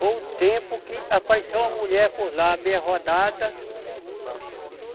Foi o tempo que apareceu uma mulher por lá, meia rodada.